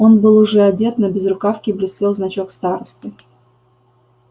он был уже одет на безрукавке блестел значок старосты